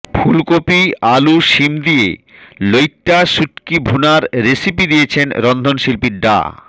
ফুলকপি আলু শিম দিয়ে লইট্টা শুটকি ভুনার রেসিপি দিয়েছেন রন্ধনশিল্পী ডা